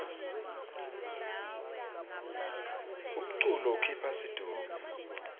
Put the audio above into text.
umculo ukhipha situnge